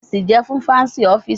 AC jẹ fun Fancy ọfiisi